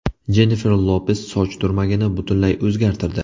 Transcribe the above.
Jennifer Lopes soch turmagini butunlay o‘zgartirdi.